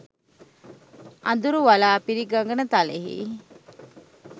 අඳුරු වළා පිරි ගගන තලයෙහි